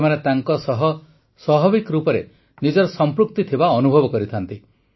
ସେମାନେ ତାଙ୍କସହ ସ୍ୱାଭାବିକ ରୂପେ ନିଜର ସଂପୃକ୍ତି ଥିବା ଅନୁଭବ କରିଥାନ୍ତି